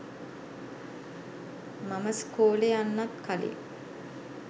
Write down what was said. මම ස්කෝලේ යන්නත් කලින්